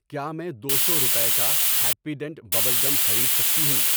کیا میں دو سو روپے کا ہیپی ڈینٹ ببل گم خرید سکتی ہوں؟